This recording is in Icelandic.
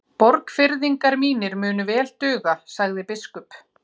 Borgfirðingar mínir munu vel duga, sagði biskup.